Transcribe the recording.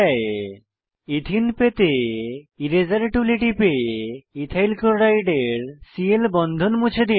এথেনে ethyne পেতে এরাসের টুলে টিপে ইথাইল ক্লোরাইডের সিএল বন্ধন মুছে দিন